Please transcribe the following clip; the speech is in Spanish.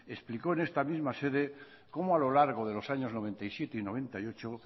explicó en esta misma sede como a lo largo de los años noventa y siete y noventa y ocho